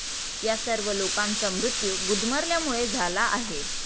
या सर्व लोकांचा मृत्यू गुदमरल्यामुळे झाला आहे.